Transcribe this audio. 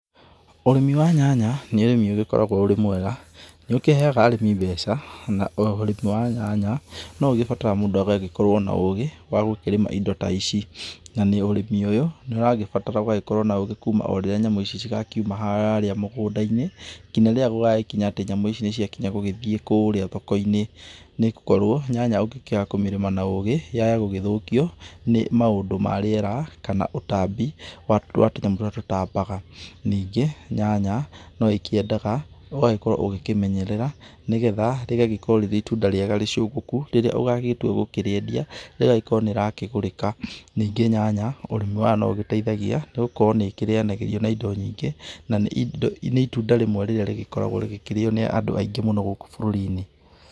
Ũrĩmi wa nyanya nĩ ũrĩmi ũgĩkoragwo ũrĩ mwega, nĩ ũkĩheaga arĩmi mbeca na ũrĩmi wa nyanya no ũgĩbatara mũndũ agagĩkorwo na ũgĩ wa gũkĩrĩma indo ta ici, na ũrĩmi ũyũ nĩ ũragĩbatara gũkorwo na ũgĩ kuuma o rĩrĩa nyamũ ici cigakiuma harĩa mũgũnda-inĩ nginya rĩrĩa gũgakinya atĩ nyamũ nĩciakinya gũgĩthiĩ kũrĩa thoko-inĩ, nĩ gũkorwo nyanya ũngĩkiaga kũmĩrĩma na ũgĩ yaaya gũgĩthũkio nĩ maũndũ ma riera, kana ũtambi wa tũnyamũ tũrĩa tũtambaga. Ningĩ nyanya no ikĩendaga ũgagĩkorwo ũgĩkĩmenyerera, nĩgetha rĩgagĩkorwo rĩrĩ itunda rĩega rĩcũgũku rĩrĩa ũgagĩtua gũkĩrĩendia ĩgagĩkorwo nĩ ĩrakĩgũrĩka. Ningĩ nyanya ũrĩmi wayo no ũgĩteithagia nĩgũkorwo nĩ ĩkĩrĩanagĩrio na indo nyingĩ, na nĩ itunda rĩmwe rĩrĩa rĩgĩkoragwo rĩkĩrĩo nĩ andũ aingĩ mũno gũkũ bũrũri-inĩ.